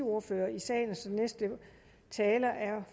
ordførere i salen så næste taler er